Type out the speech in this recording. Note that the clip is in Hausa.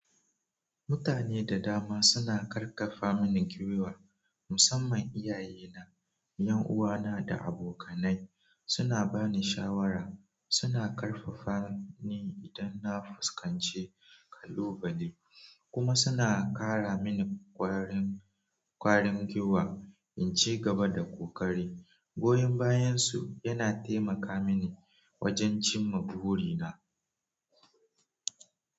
Mutane da dama suna ƙarfafa mini gwiwa. Musamman iyaye na, 'yan uwana da abokanai suna bani shawara, suna ƙarfafani idan na fuskanci kalubale kuma suna kara mini ƙwarin ƙwarin gwiwa in ci gaba da ƙoƙari. Goyon bayansu yana taimaka mini wajen cimma burina.